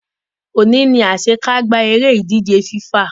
Òní lásekágbá eré ìdíje FIFA